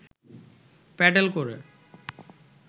pedal করে